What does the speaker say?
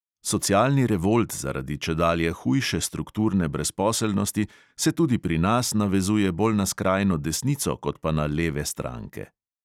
Socialni revolt zaradi čedalje hujše strukturne brezposelnosti se tudi pri nas navezuje bolj na skrajno desnico kot pa na leve stranke.